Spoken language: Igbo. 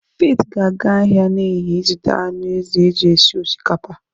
Faith ga-aga ahịa n'ehihie ịzụta anụ ezi eji esi osikapa.